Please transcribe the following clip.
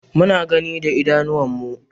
Muna gani da idanunmu.